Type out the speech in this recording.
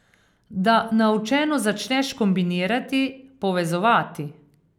Da naučeno začneš kombinirati, povezovati ...